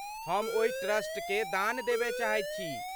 हम ओहि ट्रस्टकेँ दान देबय चाहैत छी।